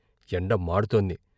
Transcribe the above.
ఎండ మాడుతోంది.